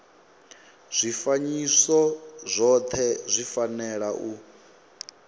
zwifanyiso zwothe zwi fanela u